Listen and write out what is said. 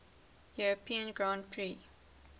european grand prix